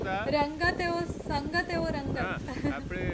રંગત એવો સંગત એવો રંગત. હાં આપણે